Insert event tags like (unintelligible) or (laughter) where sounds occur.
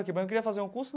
(unintelligible) queria fazer um curso.